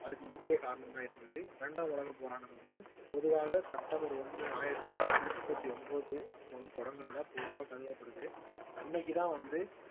அதுக்கு முக்கிய காரணமாய் இருந்தது இரண்டாவது உலகப் போரானது வந்து பொதுவாக செப்டம்பர் ஒண்ணு ஆயிரத்தி தொள்ளாயிரத்தி முப்பத்தி ஒன்பது அப்ப வந்து தொடங்குனதா பொதுவா கருதப்படுது அன்னைக்குதான் வந்து